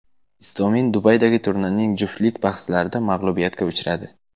Istomin Dubaydagi turnirning juftlik bahslarida mag‘lubiyatga uchradi.